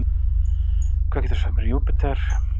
Hvað getur þú sagt mér um Júpíter?